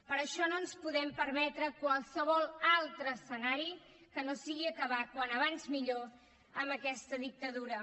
per això no ens podem permetre qualsevol altre escenari que no sigui acabar com més aviat millor amb aquesta dictadura